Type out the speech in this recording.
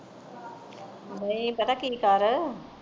ਨਹੀਂ ਪਤਾ ਕਿ ਕਰ